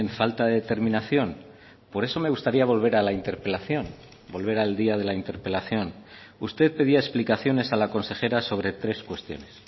falta de determinación por eso me gustaría volver a la interpelación volver al día de la interpelación usted pedía explicaciones a la consejera sobre tres cuestiones